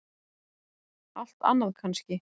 Allt annað kannski.